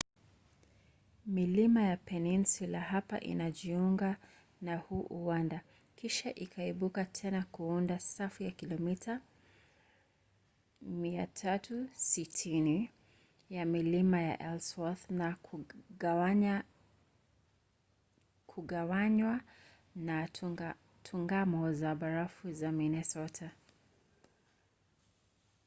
milima ya peninsula hapa inajiunga na huu uwanda kisha ikaibuka tena kuunda safu ya kilomita 360 ya milima ya ellsworth na kugawanywa na tungamo za barafu za minnesota